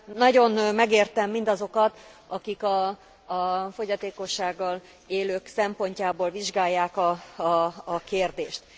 Nagyon megértem mindazokat, akik a fogyatékossággal élők szempontjából vizsgálják a kérdést.